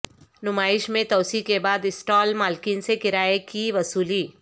نمائش میں توسیع کے بعد اسٹال مالکین سے کرایہ کی وصولی